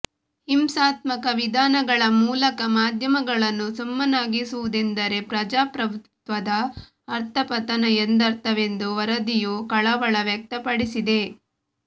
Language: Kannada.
ಹಿಂಸಾತ್ಮಕ ವಿಧಾನಗಳ ಮೂಲಕ ಮಾಧ್ಯಮಗಳನ್ನು ಸುಮ್ಮನಾಗಿಸುವುದೆಂದರೆ ಪ್ರಜಾಪ್ರಭುತ್ವದ ಅಧಃಪತನ ಎಂದರ್ಥವೆಂದು ವರದಿಯು ಕಳವಳ ವ್ಯಕ್ತಪಡಿಸಿದೆ